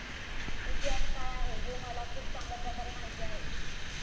इतिहास काय आहे हे मला खूप चांगल्याप्रकारे माहिती आहे.